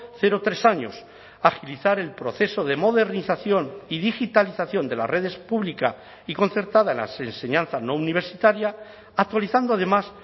cero tres años agilizar el proceso de modernización y digitalización de las redes pública y concertada en la enseñanza no universitaria actualizando además